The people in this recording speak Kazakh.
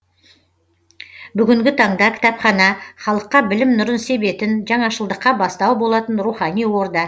бүгінгі таңда кітапхана халыққа білім нұрын себетін жаңашылдыққа бастау болатын рухани орда